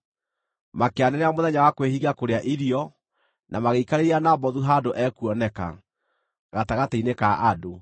Makĩanĩrĩra mũthenya wa kwĩhinga kũrĩa irio, na magĩikarĩria Nabothu handũ ekuoneka, gatagatĩ-inĩ ka andũ.